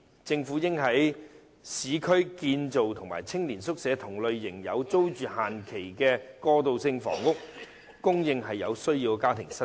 政府應在市區興建與青年宿舍同類型並設有有租住期限的過渡性房屋，供有需要的家庭申請。